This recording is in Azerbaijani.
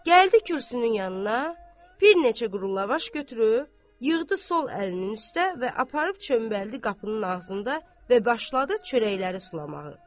Gəldi kürsünün yanına, bir neçə qurulavaş götürüb, yığdı sol əlinin üstə və aparıb çöməldi qapının ağzında və başladı çörəkləri sulamağı.